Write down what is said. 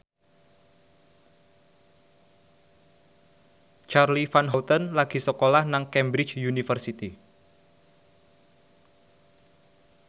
Charly Van Houten lagi sekolah nang Cambridge University